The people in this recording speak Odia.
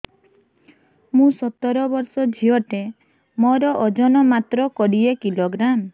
ମୁଁ ସତର ବର୍ଷ ଝିଅ ଟେ ମୋର ଓଜନ ମାତ୍ର କୋଡ଼ିଏ କିଲୋଗ୍ରାମ